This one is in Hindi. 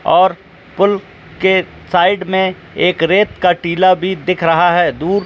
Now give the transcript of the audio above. और पुल के साइड में एक रेत का टीला भी दिख रहा है।